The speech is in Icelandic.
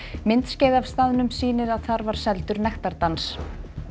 myndskeið af staðnum sýnir að þar var seldur nektardans